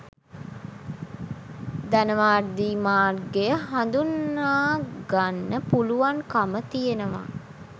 ධනවාදී මාර්ගය හඳුනා ගන්න පුළුවන්කම තියෙනවා.